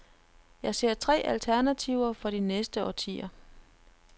Jeg ser tre alternativer for de næste årtier.